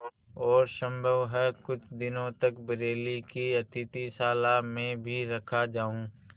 और सम्भव है कुछ दिनों तक बरेली की अतिथिशाला में भी रखा जाऊँ